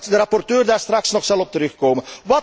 Ik denk dat de rapporteur daar straks nog op zal terugkomen.